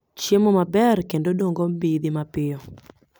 chiemo maber kendo dongo mbidhi mapiyo